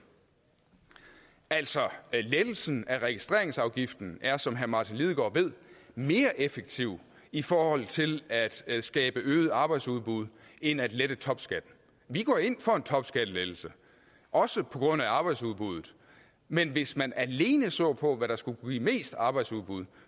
altså lettelsen af registreringsafgiften er som herre martin lidegaard ved mere effektiv i forhold til at skabe øget arbejdsudbud end at lette topskatten vi går ind for en topskattelettelse også på grund af arbejdsudbuddet men hvis man alene så på hvad der skulle give mest arbejdsudbud